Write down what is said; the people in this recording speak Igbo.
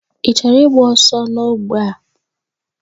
Ị chọrọ ịgba ọsọ n'ogbe a?